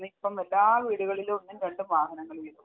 ഇപ്പം എല്ലാ വീടുകളിലും ഒന്നും രണ്ടും വാഹനങ്ങൾ വീതമുണ്ട്.